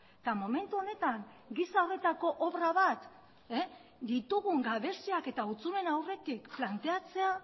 eta momentu honetan gisa horretako obra bat ditugun gabeziak eta hutsuneen aurretik planteatzea